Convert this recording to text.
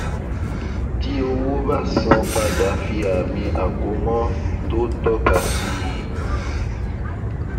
tí owó ba san padà fi àmì àkómọ tó tọka sí i